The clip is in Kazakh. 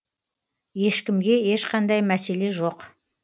ешкімге ешқандай мәселе жоқ